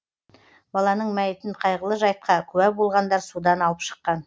баланың мәйітін қайғылы жайтқа куә болғандар судан алып шыққан